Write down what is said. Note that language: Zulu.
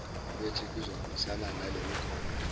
kwethi kuzohambisana nalemigomo